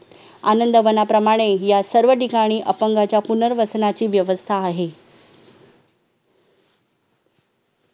आनंदवनाप्रमाणे या सर्व ठिकाणी अपंगाच्या पुनर्वसनाची व्यवस्था आहे